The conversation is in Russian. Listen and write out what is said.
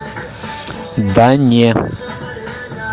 да не